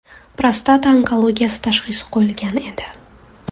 Prostata onkologiyasi tashxisi qo‘yilgan edi.